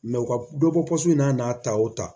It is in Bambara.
u ka dɔ bɔ in na n'a ta o ta